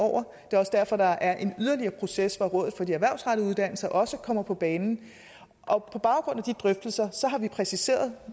og det er også derfor der er en yderligere proces hvor rådet for de grundlæggende erhvervsrettede uddannelser også kommer på banen på baggrund af de drøftelser har vi præciseret